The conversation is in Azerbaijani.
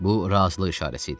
Bu razılıq işarəsi idi.